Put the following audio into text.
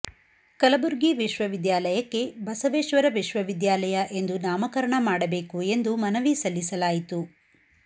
ಕಲಬುರ್ಗಿ ವಿಶ್ವವಿದ್ಯಾಲಯಕ್ಕೆ ಬಸವೇಶ್ವರ ವಿಶ್ವವಿದ್ಯಾಲಯ ಎಂದು ನಾಮಕರಣ ಮಾಡಬೇಕು ಎಂದು ಮನವಿ ಸಲ್ಲಿಸಲಾಯಿತು